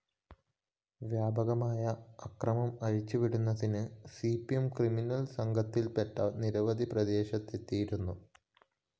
വ്യാപകമായ അക്രമമഴിച്ച് വിടുന്നതിന് സി പി എം ക്രിമിനൽ സംഘത്തില്‍പ്പെട്ട നിരവധി പ്രദേശത്തെത്തിയിരുന്നു